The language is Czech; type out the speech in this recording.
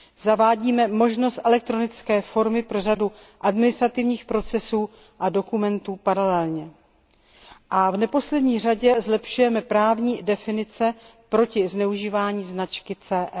Zavede se možnost elektronické formy pro řadu administrativních procesů a dokumentů paralelně a v neposlední řadě se zlepší právní definice proti zneužívání značky CE.